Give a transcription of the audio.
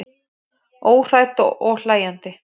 Óhrædd og hlæjandi.